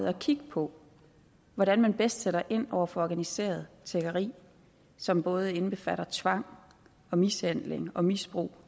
og kigge på hvordan man bedst sætter ind over for organiseret tiggeri som både indbefatter tvang mishandling og misbrug